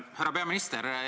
Härra peaminister!